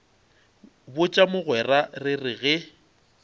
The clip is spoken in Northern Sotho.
botša mogwera re re ge